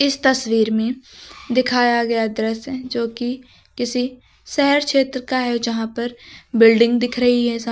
इस तस्वीर में दिखाया गया दृश्य जोकि किसी शहर क्षेत्र का है जहां पर बिल्डिंग दिख रही है साम--